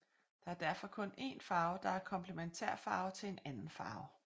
Der er derfor kun én farve der er komplementærfarve til en anden farve